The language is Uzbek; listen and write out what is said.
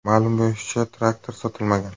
Ma’lum bo‘lishicha, traktor sotilmagan.